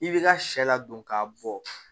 I bɛ ka sɛ ladon k'a bɔ